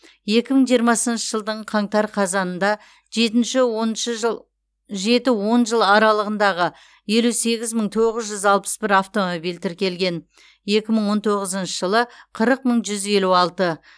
екі мың жиырмасыншы жылдың қаңтар қазанында жетінші оныншы жыл жеті он жыл аралығындағы елу сегіз мың тоғыз жүз алпыс бір автомобиль тіркелген екі мың он тоғызыншы жылы қырық мың жүз елу алты